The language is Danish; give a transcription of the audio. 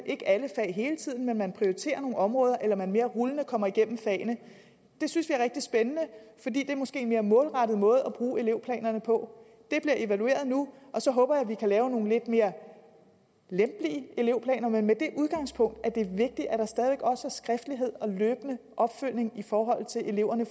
ikke er alle fag hele tiden men man prioriterer nogle områder eller mere rullende kommer igennem fagene det synes vi er rigtig spændende fordi det måske er en mere målrettet måde at bruge elevplanerne på det bliver evalueret nu og så håber jeg at vi kan lave nogle lidt mere lempelige elevplaner men med det udgangspunkt at det er vigtigt at der stadig væk også er skriftlighed og løbende opfølgning i forhold til eleverne